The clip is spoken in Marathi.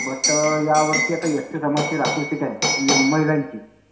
बट अं यावर्षी आता एसटी समाजाची राखीव सीट आहे म्हणजे महिलांची.